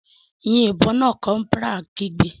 Yin ìbọn náà!, corporal kigbe.